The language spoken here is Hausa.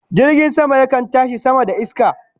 Jirgin sama yakan tashi sama da iska